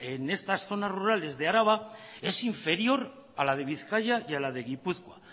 en esas zonas rurales de araba es inferior a la de bizkaia y a la de gipuzkoa